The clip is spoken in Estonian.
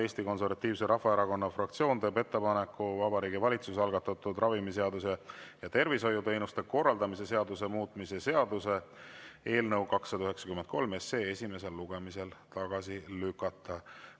Eesti Konservatiivse Rahvaerakonna fraktsioon teeb ettepaneku Vabariigi Valitsuse algatatud ravimiseaduse ja tervishoiuteenuste korraldamise seaduse muutmise seaduse eelnõu 293 esimesel lugemisel tagasi lükata.